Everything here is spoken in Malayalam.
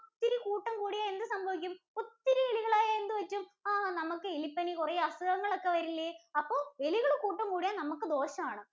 ഒത്തിരി കൂട്ടം കൂടിയാൽ എന്ത് സംഭവിക്കും? ഒത്തിരി എലികൾ ആയാൽ എന്ത് പറ്റും? ആ നമുക്ക് എലിപനി, കുറെ അസുഖങ്ങൾ ഒക്കെ വരില്ലേ? അപ്പോ എലികൾ കൂട്ടം കൂടിയാൽ നമുക്ക് ദോഷം ആണ്.